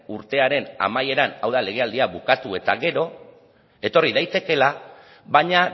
urtearen amaieran hau da legealdia bukatu eta gero etorri daitekeela baina